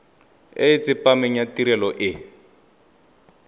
e tsepameng ya tirelo e